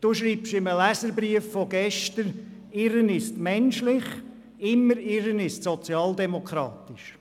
Sie schrieben gestern in einem Leserbrief, Irren sei menschlich, und immer zu irren, sei sozialdemokratisch.